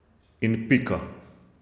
In pika.